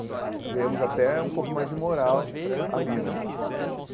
Aí ganhamos até um pouco mais de moral ali né.